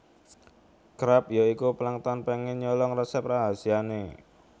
Krabs ya iku Plankton pengen nyolong resep rahasiane